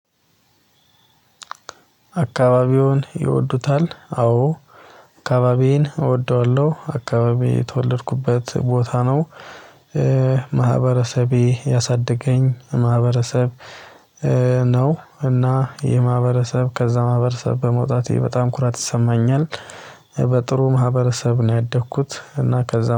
አካባቢውን ይወዱታል አዎ አካባቢዬን እወደዋለሁ አካባቢ የተወለድኩበት ቦታ ነው። ማህበረሰቤ ያሳደገኝ ማህበረሰብ ነው። እና የማህበረሰብ ከዛ ማህበረሰብ በመውጣቴ በጣም ኩራት ይሰማኛል። በጥሩ ማህበረሰብ ነው ያደግኩት እና ከዛ